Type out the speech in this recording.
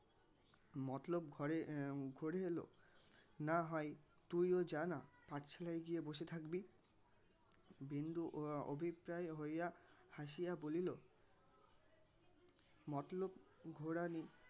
মতলব ঘরে ঘোরে এলো. না হয় তুইও যা না পাঠশালায় গিয়ে বসে থাকবি বিন্দু অভিপ্রায় হইয়া হাসিয়া বলিল মতলব ঘোরা